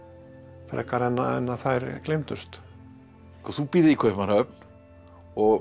frekar en að en að þær gleymdust þú býrð í Kaupmannahöfn og